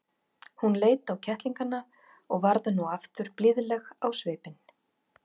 Hún leit á kettlingana og varð nú aftur blíðleg á svipinn.